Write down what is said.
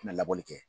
Na labɔli kɛ